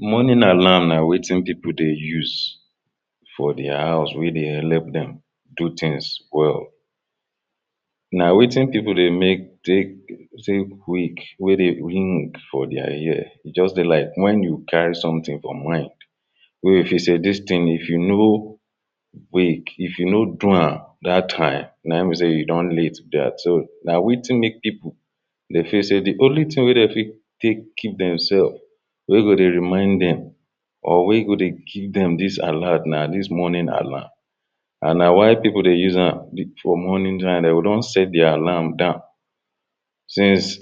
Morning alarm na wetin pipu dey use for their house wey dey help dem do things well. Na wetin people dey make take wake wey dey ring for their ear. E just dey like when you carry something for mind wey you fity sey dis thing if you no wake, if you no do am dat time, na im be sey e don late be dat. Na wetin make pipu dey feel say the only thing wey dem fit take keep demself, wey go dey remind dem or wey e go dey give dem dis alert na dis morning alarm. And na why pipu dey use am for morning time. They go don set the alarm down since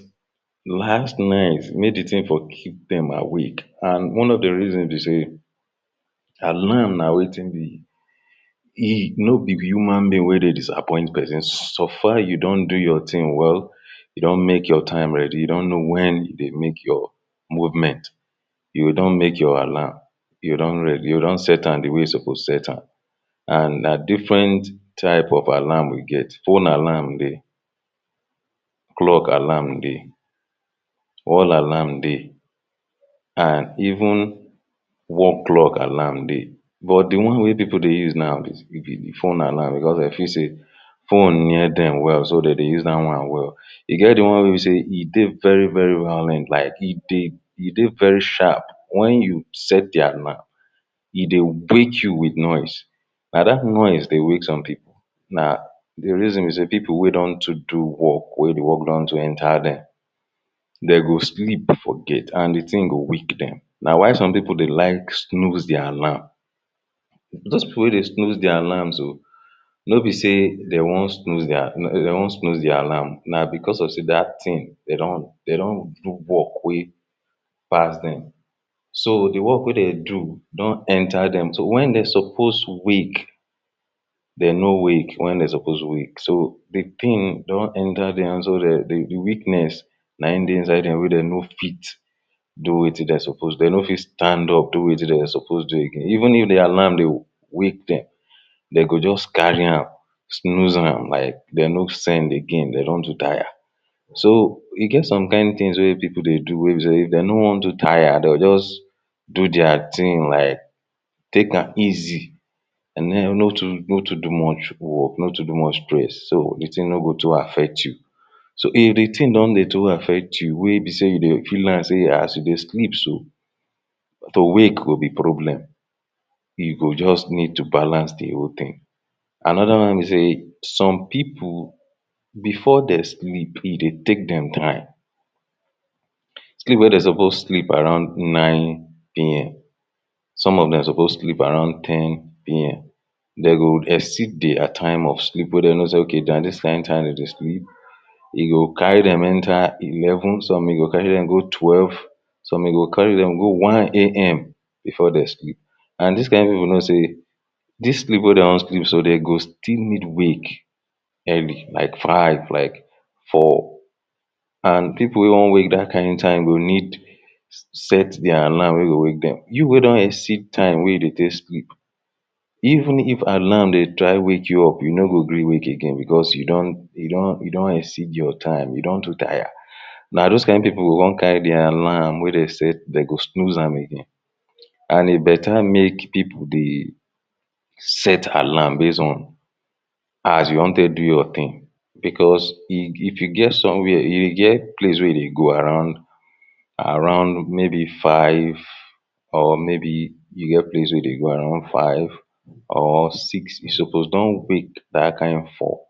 last night make the thing for keep dem awake. And one of the reason be sey alarm na wetin be. No be the human being wey dey disappoint pesin. So far you don do your thing well, you don make your time ready, you don konw when u dey make your movement, you go don make your alarm. You go don set am the way you suppose set am. And na different type of alarm we get. fone alarm dey, clock alarm dey, wall alarm dey and even wall clock alarm dey. But the one wey people dey use now be fone alarm because dey feel sey phone near dem well. So dem dey use dat one well. E get the one wey be sey, e dey very very violent like. E dey very sharp. When you set the alarm e dey wake you with noise. Na dat noise dey wake some people. Na the reason be sey pipu wey don too do work, wey the work don too enter dem de go sleep forget and the thing go weak dem. Na why some pipu dey like snooze the alarm. Dos pipu wey dey snooze the alarm so no be sey dem wan snooze their de wan snooze the alarm. Na because of sey dat thing de don de don do work wey pass dem. So the work wey dem do don enter dem. So when dem suppose wake de no wake when dem suppose wake. So, the thing don enter their so dat the weakness na im dey inside dem wey dem no fit do wetin dem suppose do. Dem no fit stand up do wetin dem suppose do again. Even if the alarm dey wake dem they go just carry am snooze am like they no send again. They don too tire. So, e get some kind things wey people dey do wey be sey they no wan too tire. They go just do their things like take am easy and den no too no too do much work, no too do much stress, so the thing no too affect you. So if the thing don dey too affect you wey be sey you dey feel am sey as you dey sleep so to wake go be problem. E go just need to balance the whole thing. Another one be sey some people before dem sleep, e dey take dem time. Sleep wey dem suppose sleep around nine P.M, some of dem suppose sleep around ten P.M. De go exceed their time of sleep. Wey dem know sey okay na dis kind time dem dey sleep. E go carry dem enter eleven, some e go carry dem go twelve, some e go carry dem go one A.M before de sleep. And dis kind people know sey dis sleep wey de wan sleep so, de go still need wake early like five, like four. And pipu wey wan wake dat kind time go need set their alarm wey go wake dem. You wey don exceed time wey you dey take sleep even if alarm dey try wake you up, you no go gree wake again because you don you don exceed your time. You don too tire. Na dos kind pipu go con carry the alarm wey dem set, de go snooze am again. And e better make pipu dey set alarm base on as you wan take do your thing because e if e get somewhere e get place wey you dey go around around maybe five or maybe you get place wey you dey go around five or six. You suppose don wake dat kind four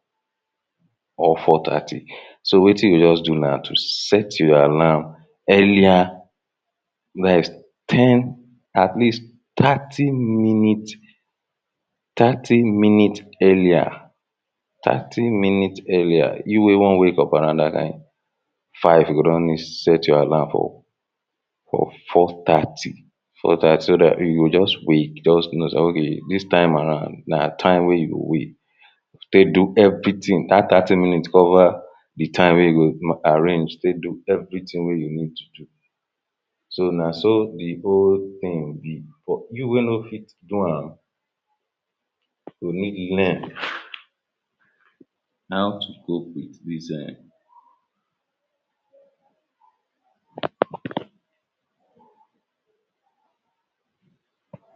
or four thirty. So wetin you go just do na to set your alarm earlier ten atleast thirty minute thirty minute earlier thirty minute earlier. You wey wan wake up around dat kind five. You go don set your alarm for for four thirty. So dat so dat you go wake, just know sey okay dis time around na time wey you go wake take do everything. Dat thirty minute cover the time wey you go arrange take do everything wey you need to do. So na so the whole thing be. For you wey no fit do am you go need learn how to cope with dis um